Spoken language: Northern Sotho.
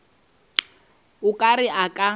o ka re a ka